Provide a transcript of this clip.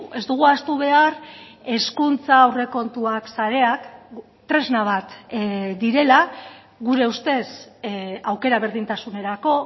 ez dugu ahaztu behar hezkuntza aurrekontuak sareak tresna bat direla gure ustez aukera berdintasunerako